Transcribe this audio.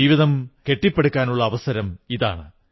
ജീവിതം കെട്ടിപ്പടുക്കാനുള്ള അവസരമിതാണ്